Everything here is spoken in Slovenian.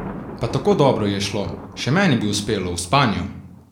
Pa tako dobro ji je šlo, še meni bi uspelo, v spanju!